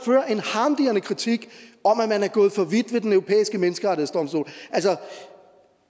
harmdirrende kritik af at de er gået for vidt ved den europæiske menneskerettighedsdomstol altså